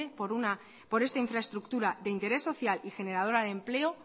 por esta infraestructura de interés social y generadora de empleo